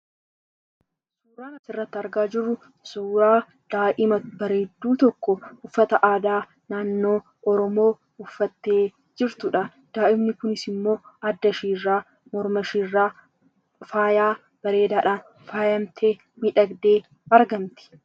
Waan asirratti argaa jirru, suuraa daa'ima bareedduu tokko uffata aadaa naannoo oromiyaa uffattee jirtudha. Daa'imni Kunis immoo adda ishee irraa, morma ishee irraa faayaa bareedaadhaan faayamtee, miidhagdee argamti.